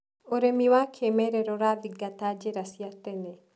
ũrĩmi wa kĩmerera ũrathingata njĩra cia tene.